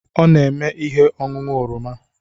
Ọ na-eme ihe ọñụñụ oroma.